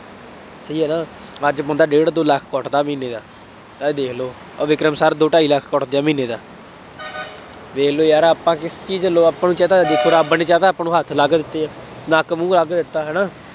ਸਹੀ ਹੈ ਨਾ, ਅੱਜ ਬੰਦਾ ਡੇਢ ਦੋ ਲੱਖ ਕੁੱਟਦਾ ਮਹੀਨੇ ਦਾ, ਇਹ ਦੇਖ ਲਉ, ਉਹ ਵਿਕਰਮ sir ਦੋ ਢਾਈ ਲੱਖ ਕੁੱਟਦੇ ਆ ਮਹੀਨੇ ਦਾ ਵੇਖ ਲਉ ਯਾਰ ਆਪਾਂ ਕਿਸ ਚੀਜ਼ ਵੱਲੋਂ, ਆਪਾਂ ਨੂੰ ਕਹਿ ਤਾ, ਦੇਖੌ ਰੱਬ ਨੇ ਕਹਿ ਤਾ, ਆਪਾਂ ਨੂੰ ਹੱਥ ਲਾ ਕੇ ਦਿੱਤੇ ਹੈ, ਨੱਕ ਮੂੰਹ ਲਾ ਕੇ ਦਿੱਤਾ ਹੈ ਨਾ,